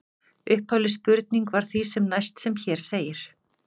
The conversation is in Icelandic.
Upphafleg spurning var því sem næst sem hér segir: